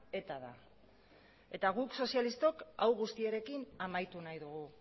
eta da eta guk sozialistok hau guztiarekin amaitu nahi dugu